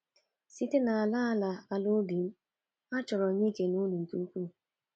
Site n’ala n’ala ala obi m, achọrọ m ikele unu nke ukwuu.”